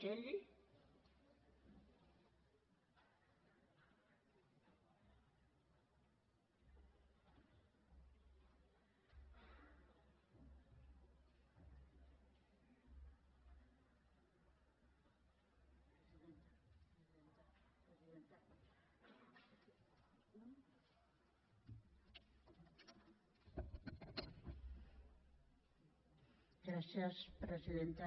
gràcies presidenta